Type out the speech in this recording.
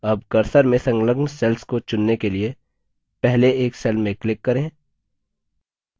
अब cursor से संलग्न cells को चुनने के लिए पहले एक cells में click करें